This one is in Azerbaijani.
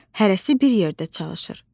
Hərəsi bir yerdə çalışır.